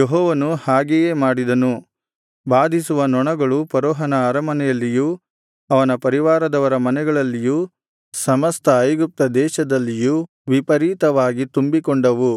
ಯೆಹೋವನು ಹಾಗೆಯೇ ಮಾಡಿದನು ಬಾಧಿಸುವ ನೊಣಗಳು ಫರೋಹನ ಅರಮನೆಯಲ್ಲಿಯೂ ಅವನ ಪರಿವಾರದವರ ಮನೆಗಳಲ್ಲಿಯೂ ಸಮಸ್ತ ಐಗುಪ್ತ ದೇಶದಲ್ಲಿಯೂ ವಿಪರೀತವಾಗಿ ತುಂಬಿಕೊಂಡವು